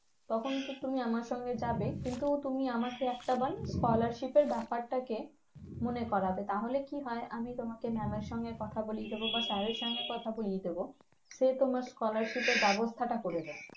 তখন তো তুমি আমার সঙ্গে যাবে কিন্তু তুমি আমাকে একটা বার scholarship এর ব্যাপারটাকে মনে করাবে তাহলে কি হয় আমি তোমাকে mam এর সঙ্গে কথা বলিয়ে দেবো বা sir এর সঙ্গে কথা বলিয়ে দেবো সে তোমার scholarship এর ব্যবস্থাটা করে দেবে